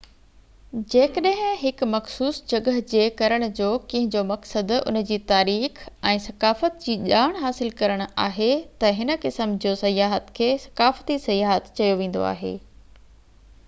جيڪڏهن هڪ مخصوص جڳهه جي ڪرڻ جو ڪنهنجو مقصد ان جي تاريخ ۽ ثقافت جي ڄاڻ حاصل ڪرڻ آهي ته هن قسم جو سياحت کي ثقافتي سياحت چيو ويندو آهي